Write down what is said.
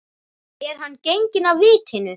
Er hann genginn af vitinu?